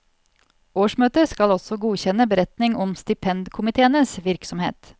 Årsmøtet skal også godkjenne beretning om stipendkomiteenes virksomhet.